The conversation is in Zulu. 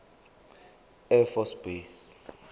air force base